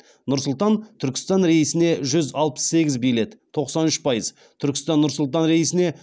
нұр сұлтан түркістан рейсіне жүз алпыс сегіз билет түркістан нұр сұлтан рейсіне